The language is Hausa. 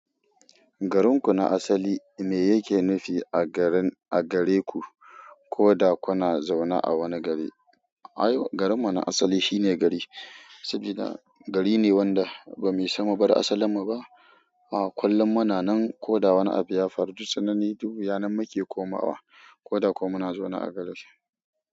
Garin ku na asali me yake nufi a gare ku? Ko da kuna zaune a wani gari. Ai garin mu na asali shine gari saboda gari ne wanda ba muyi sama ba da asalin mu ba. A kullum muna nan koda wani abu yafaru duk tsanani duk wuya nan muke komawa koda ko muna zaune.